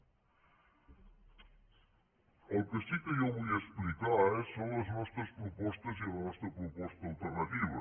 el que sí que jo vull explicar són les nostres propostes i la nostra proposta alternativa